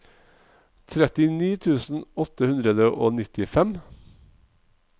trettini tusen åtte hundre og nittifem